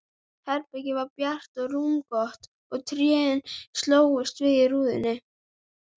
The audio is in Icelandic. Herbergið var bjart og rúmgott og trén slógust við rúðuna.